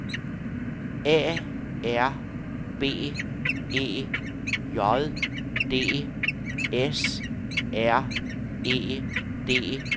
A R B E J D S R E D S K A B